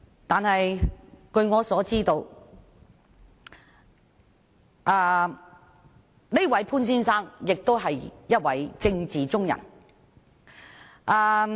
但是，據我所知，這位潘先生亦是一位政治圈中人。